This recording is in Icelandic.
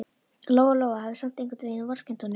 Lóa-Lóa hafði samt einhvern veginn vorkennt honum.